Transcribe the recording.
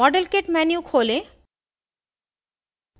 model kit menu खोलें